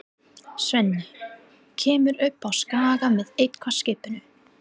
Svenni kemur upp á Skaga með eitt-skipinu.